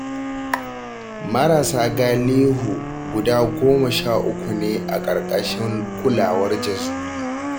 Marasa galihu guda goma sha uku ne a ƙarƙashin kulawar Jazuli